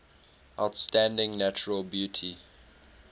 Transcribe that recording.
outstanding natural beauty